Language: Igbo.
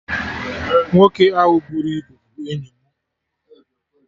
Nwoke ahụ buru ibu bụ enyi mụ